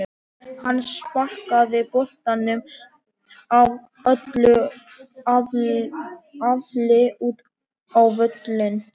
Hann sparkaði boltanum af öllu afli út á völlinn.